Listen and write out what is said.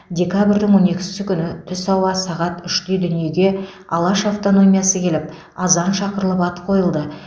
декабрьдің он екісі күні түс ауа сағат үште дүниеге алаш автономиясы келіп азан шақырылып ат қойылды